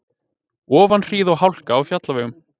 Ofanhríð og hálka á fjallvegum